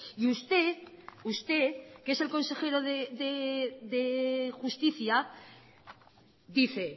y usted usted que es el consejero de justicia dice